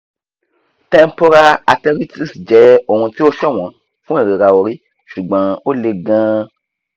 temporal arteritis jẹ́ ohun tí ó ṣọ̀wọ́n fún ìrora orí ṣùgbọ́n ó le gan-an